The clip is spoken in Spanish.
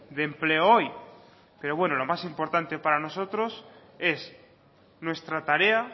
de empleo hoy pero bueno lo más importante para nosotros es nuestra tarea